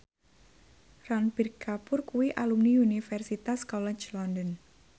Ranbir Kapoor kuwi alumni Universitas College London